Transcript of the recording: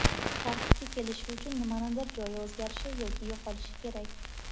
Tartibga kelishi uchun nimanidir joyi o‘zgarishi yoki yo‘qolishi kerak.